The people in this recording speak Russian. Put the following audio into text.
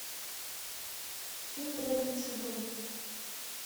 фильм преданный садовник